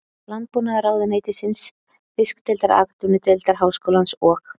Landbúnaðarráðuneytisins, Fiskideildar Atvinnudeildar Háskólans og